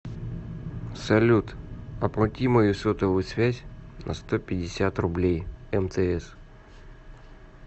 салют оплати мою сотовую связь на сто пятьдесят рублей мтс